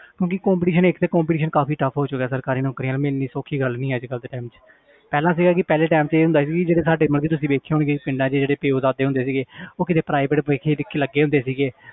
ਕਿਉਂਕਿ competition ਇੱਕ ਤੇ competition ਕਾਫ਼ੀ tough ਹੋ ਚੁੱਕਿਆ ਸਰਕਾਰੀ ਨੌਕਰੀਆਂ ਮਿਲਣੀ ਸੌਖੀ ਗੱਲ ਨਹੀਂ ਅੱਜ ਕੱਲ੍ਹ ਦੇ time 'ਚ ਪਹਿਲਾਂ ਸੀਗਾ ਕਿ ਪਹਿਲੇ time 'ਚ ਇਹ ਹੁੰਦਾ ਸੀ ਵੀ ਜਿਹੜੇ ਸਾਡੇ ਮਤਲਬ ਕਿ ਤੁਸੀਂ ਵੇਖੇ ਹੋਣਗੇ ਪਿੰਡਾਂ 'ਚ ਜਿਹੜੇ ਪਿਓ ਦਾਦੇ ਹੁੰਦੇ ਸੀਗੇ ਉਹ ਕਿਤੇ private ਲੱਗੇ ਹੁੰਦੇ ਸੀਗੇ